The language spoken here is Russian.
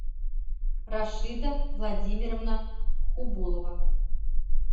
рашида владимировна хубулова